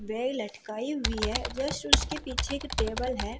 वे लटकाई हुई है जस्ट उसके पीछे एक टेबल है।